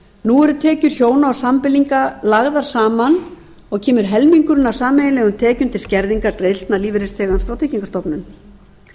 nú eru tekjur hjóna og sambýlinga lagðar saman og kemur helmingurinn af sameiginlegum tekjum til skerðingar greiðslna lífeyrisþegans frá tryggingastofnun